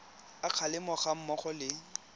a kgalemo ga mmogo le